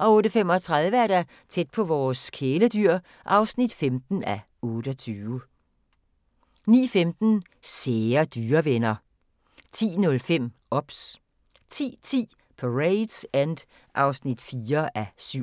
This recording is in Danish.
08:35: Tæt på vores kæledyr (15:28) 09:15: Sære dyrevenner 10:05: OBS 10:10: Parade's End (4:5)